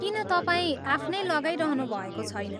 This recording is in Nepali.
किन तपाईँ आफ्नै लगाइरहनु भएको छैन?